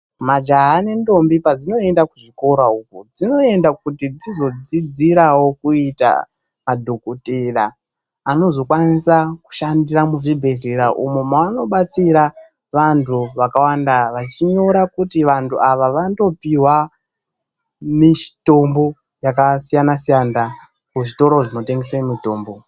Majaha nendombi padzinoenda kuzvikora uko dzinoenda kuti dzizo dzidzirawo kuita madhokoteya anozokwanisa kushandira muzvibhedhlera. Umo mano batsira vantu vakawanda vachinyora kuti vantu avo vandopiwa mitombo yakasiyanasiyana kuzvitoro zvinotengese mitombo.